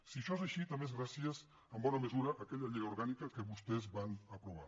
si això és així també és gràcies en bona mesura a aquella llei orgànica que vostès van aprovar